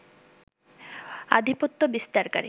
আধিপত্য বিস্তারকারী